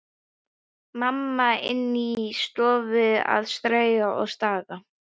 Mamma inni í stofu að strauja og staga.